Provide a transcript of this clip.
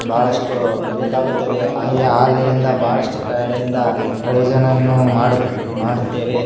ಬಹಳಷ್ಟು ಬೇಕಾಗುತ್ತದೆ ಹಾಗೆ ಹಾಲಿನಿಂದ ಬಹಳಷ್ಟು ಕಡೆ ಇಂದ ಪ್ರಯೋಜನವನ್ನು ಮಾಡುತ್ತೇವೆ.